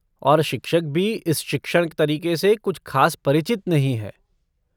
और शिक्षक भी इस शिक्षण तरीक़े से कुछ खास परिचित नहीं हैं।